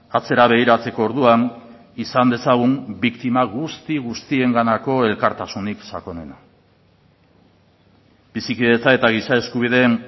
atzera begiratzeko orduan izan dezagun biktima guzti guztienganako elkartasunik sakonena bizikidetza eta giza eskubideen